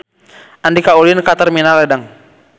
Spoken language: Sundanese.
Andika ulin ka Terminal Ledeng